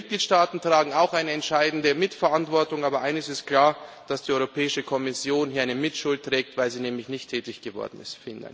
Die Mitgliedstaaten tragen auch eine entscheidende Mitverantwortung, aber eines ist klar dass die Europäische Kommission hier eine Mitschuld trägt, weil sie nämlich nicht tätig geworden ist.